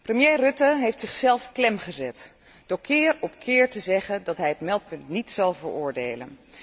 Premier Rutte heeft zichzelf klem gezet door keer op keer te zeggen dat hij het meldpunt niet zal veroordelen.